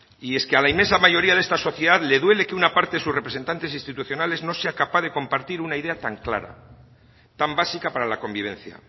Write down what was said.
y es que a la inmensa mayoría de esta sociedad le duele que una parte de sus representantes institucionales no sea capaz de compartir una idea tan clara tan básica para la convivencia